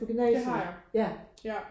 Det har jeg ja